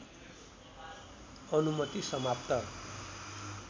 अनुमति समाप्त